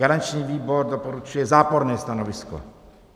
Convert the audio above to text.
Garanční výbor doporučuje záporné stanovisko.